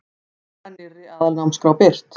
Drög að nýrri aðalnámskrá birt